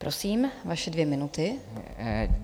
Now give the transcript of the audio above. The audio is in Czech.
Prosím, vaše dvě minuty.